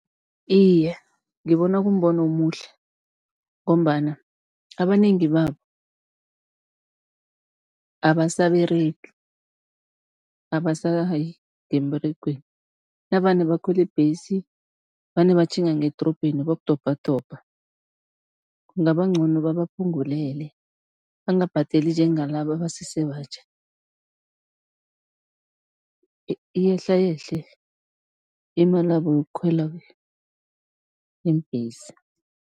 Iye, ngibona kumbono omuhle ngombana abanengi babo, abasaberegi, abasayi ngemberegweni, navane bakhwela ibhesi vane batjhinga ngedorobheni bokudobhadobha, kungaba ngcono babaphungulele, bangabhadeli njengalaba abasese batjha, iyehlayehle imalabo yokukhwela iimbhesi.